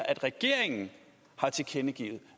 at regeringen har tilkendegivet